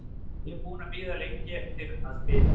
Ég er búinn að bíða lengi eftir að spila.